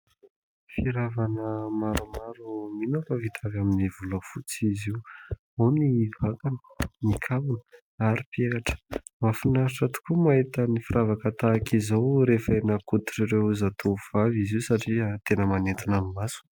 Firavaka maromaro mino aho fa vita avy amin'ny volafotsy izy io. Ao ny vakany ny kavina ary peratra. Mahafinaritra tokoa mahita ny firavaka tahaka izao rehefa eny an-koditr'ireo zatovo vavy izy io satria tena manintona ny maso.